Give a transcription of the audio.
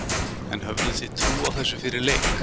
En höfðuð þið trú á þessu fyrir leik?